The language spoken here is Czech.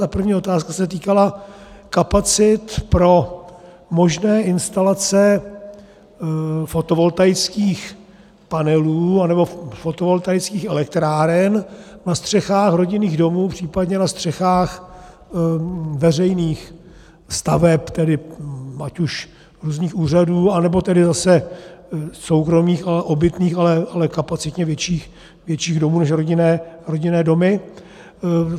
Ta první otázka se týkala kapacit pro možné instalace fotovoltaických panelů, anebo fotovoltaických elektráren na střechách rodinných domů, případně na střechách veřejných staveb, tedy ať už různých úřadů, anebo tedy zase soukromých obytných, ale kapacitně větších domů než rodinné domy.